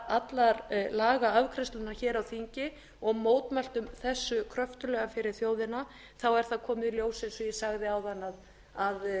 allar lagaafgreiðslurnar á þingi og mótmæltum þessu kröftuglega fyrir þjóðina þá komið í ljós eins og ég sagði áðan að